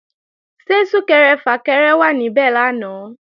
Ṣé Sún-kẹrẹ-fà-kẹrẹ wà níbẹ̀ lánàá?